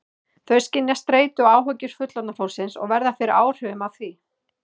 Þau skynja streitu og áhyggjur fullorðna fólksins og verða fyrir áhrifum af því.